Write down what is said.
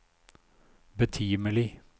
betimelig